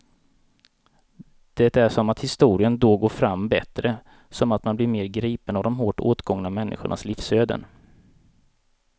Det är som att historien då går fram bättre, som att man blir mer gripen av de hårt åtgångna människornas livsöden.